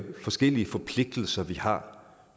forskellige forpligtelser vi har